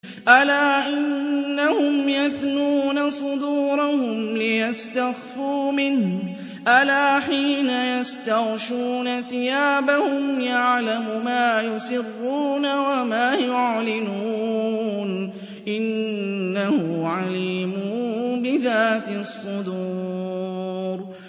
أَلَا إِنَّهُمْ يَثْنُونَ صُدُورَهُمْ لِيَسْتَخْفُوا مِنْهُ ۚ أَلَا حِينَ يَسْتَغْشُونَ ثِيَابَهُمْ يَعْلَمُ مَا يُسِرُّونَ وَمَا يُعْلِنُونَ ۚ إِنَّهُ عَلِيمٌ بِذَاتِ الصُّدُورِ